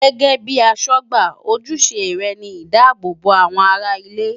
Gẹ́gẹ́ bíi aṣọ́gbà, ojúṣe rẹ̀ ni ìdáàbò bo àwọn ará ilé.